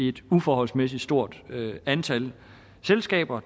et uforholdsmæssig stort antal selskaber